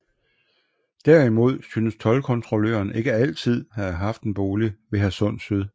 Derimod synes toldkontrolløren ikke altid at have haft en bolig ved Hadsund Syd